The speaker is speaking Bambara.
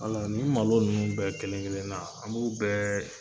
ni malo ninnu bɛɛ kelen kelennan an b'u bɛɛ